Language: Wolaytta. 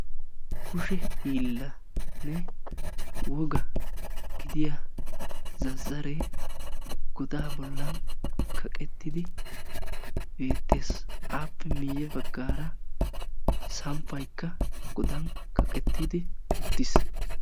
kushe hiillanne wogaa gidiyaa zazzaree godaa bollan kaqettidi beettes. Appe miyye baggaara samppaykka godan kaqqettidi uttiis.